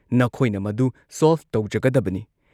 ꯅꯈꯣꯏꯅ ꯃꯗꯨ ꯁꯣꯜꯚ ꯇꯧꯖꯒꯗꯕꯅꯤ꯫